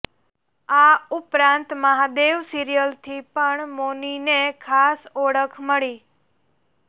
આ ઉપરાંત મહાદેવ સીરિયલથી પણ મૌનીને ખાસી ઓળખ મળી